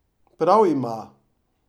Prav ima!